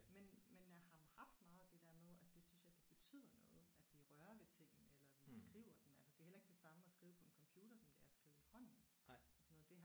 Men men jeg har haft meget det der med at det synes jeg det betyder noget at vi rører ved tingene eller vi skriver dem. Altså det er heller ikke det samme at skrive på en computer som det er at skrive i hånden og sådan noget